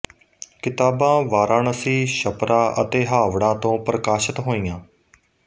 ਕਿਤਾਬਾਂ ਵਾਰਾਣਸੀ ਛਪਰਾ ਅਤੇ ਹਾਵੜਾ ਤੋਂ ਪ੍ਰਕਾਸ਼ਿਤ ਹੋਈਆਂ